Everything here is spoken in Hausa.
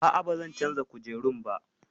A'a, ba zan canza kujerun ba